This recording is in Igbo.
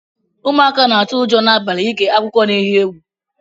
Ụmụaka na atụ ụjọ na abali ige akụkọ na eghi egwu.